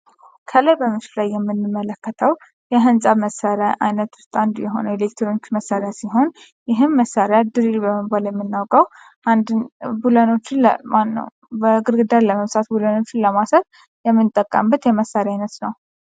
ከላይ በምስሉ ላይ የምንመለከተው የህንፃ መሳርያ አይነት ውስጥ አንዱ የሆነው ኤሌክትሮኒክስ መሳርያ ሲሆን ይህም መሳርያ ድሪል የሚባል በመባል የምናውቀው አንድን ግርግዳን ለመብሳት ቡለኖችን ለማሰር የምንጠቀምበት የመሳርያ አይነት ነው።